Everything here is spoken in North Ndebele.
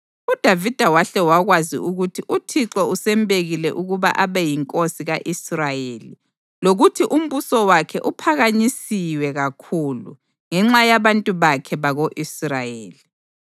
UDavida wahle wakwazi ukuthi uThixo usembekile ukuba abe yinkosi ka-Israyeli lokuthi umbuso wakhe uphakanyisiwe kakhulu ngenxa yabantu bakhe bako-Israyeli.